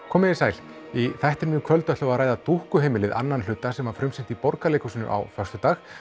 komiði sæl í þættinum í kvöld ætlum við að ræða annan hluta sem var frumsýnt í Borgarleikhúsinu á föstudag